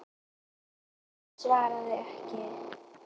Svaraði ekki.